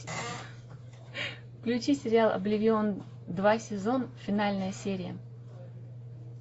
включи сериал обливион два сезон финальная серия